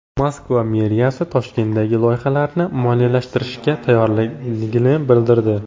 Moskva meriyasi Toshkentdagi loyihalarni moliyalashtirishga tayyorligini bildirdi.